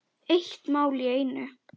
Eitt mál í einu.